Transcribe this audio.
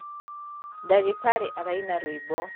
Ndagītarī araina rwīmbo.